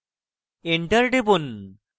enter টিপুন